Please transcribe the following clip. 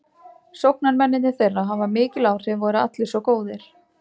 Sóknarmennirnir þeirra hafa mikil áhrif og eru allir svo góðir.